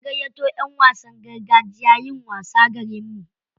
An gayyato ƴan wasan gargajiya yin wasa garinmu.